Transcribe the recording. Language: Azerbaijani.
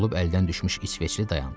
Yorulub əldən düşmüş İsveçli dayandı.